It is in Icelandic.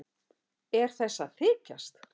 Er þessi að þykjast?